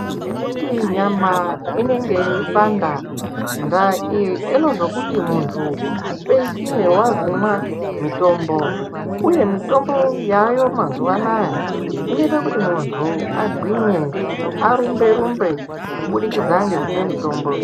Ngekuti nyama inenge yeipanda ndaa iyi inozokuti muntu upedzisire vakumwa mitombo, uye mitombo yayo mazuva anaya inoita kuti muntu agwinye arumbe-rumbe, kubudikidza ngekumwe mutombo.